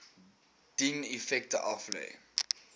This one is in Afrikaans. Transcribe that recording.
dien effekte aflê